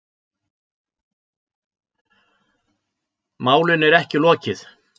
Málinu er ekki lokið